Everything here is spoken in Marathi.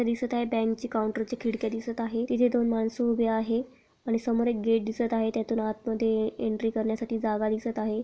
तरी सुद्धा या बँक ची काऊंटर ची खिडकी दिसत आहे तिथे दोन मानस उभे आहे आणि समोर एक गेट दिसत आहे त्यातून आतमध्ये एंट्री करण्यासाठी जागा दिसत आहे.